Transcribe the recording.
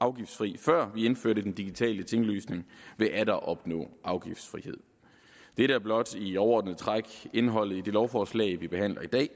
afgiftsfri før vi indførte den digitale tinglysning vil atter opnå afgiftsfrihed dette er blot i overordnede træk indholdet i det lovforslag vi behandler i dag